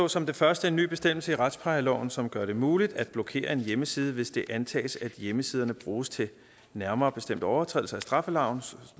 som det første en ny bestemmelse i retsplejeloven som gør det muligt at blokere en hjemmeside hvis det antages at hjemmesiden bruges til nærmere bestemt overtrædelse af straffeloven